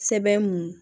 Sɛbɛn mun